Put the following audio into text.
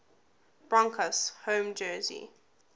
broncos home jersey